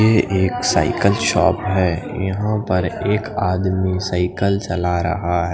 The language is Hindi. ये एक साइकिल शॉप हे यहाँ पर एक आदमी साइकिल चला रहा हैं।